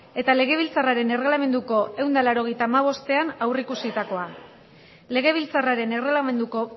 eta legebiltzarraren erregelamenduko ehun eta laurogeita hamairuean aurreikusitakoa legebiltzarraren erreglamenduko